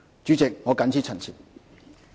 主席，我謹此陳辭。